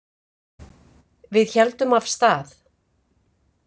Við héldum af stað.